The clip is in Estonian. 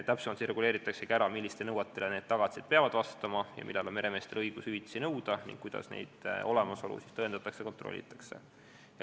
Täpsemalt reguleeritaksegi ära, millistele nõuetele need tagatised peavad vastama, millal on meremeestel õigus hüvitisi nõuda ning kuidas nende olemasolu tõendatakse ja kontrollitakse.